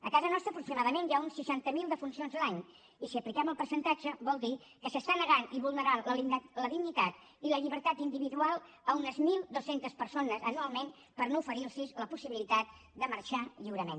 a casa nostra aproximadament hi ha unes seixanta miler defuncions l’any i si apliquem el percentatge vol dir que s’està negant i vulnerant la dignitat i la llibertat individual a unes mil dos cents persones anualment per no oferir los la possibilitat de marxar lliurement